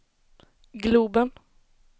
globen